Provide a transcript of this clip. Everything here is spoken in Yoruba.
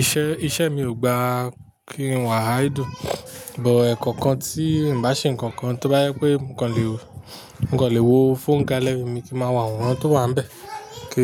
iṣẹ́, iṣẹ́ mi ò gba kí n wà á idle, but ẹ̀ẹ̀kọkan tí n bá ṣe nǹkan kan tó bá jé pé mo kan lè wo, mo kan lè wo fóònù gálẹ̀ mi tí n máa wá àworan tó wà níbẹ̀, kí